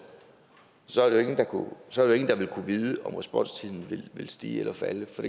så ville ingen jo kunne vide om responstiden ville stige eller falde for